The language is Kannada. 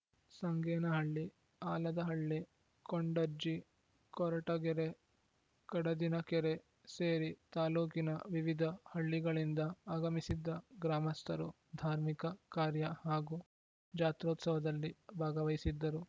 ಸಂಗೇನಹಳ್ಳಿ ಆಲದಹಳ್ಳಿ ಕೊಂಡಜ್ಜಿ ಕೊರಟಗೆರೆ ಕಡದಿನಕೆರೆ ಸೇರಿ ತಾಲೂಕಿನ ವಿವಿಧ ಹಳ್ಳಿಗಳಿಂದ ಆಗಮಿಸಿದ್ದ ಗ್ರಾಮಸ್ಥರು ಧಾರ್ಮಿಕ ಕಾರ್ಯ ಹಾಗೂ ಜಾತ್ರೋತ್ಸವದಲ್ಲಿ ಭಾಗವಹಿಸಿದ್ದರು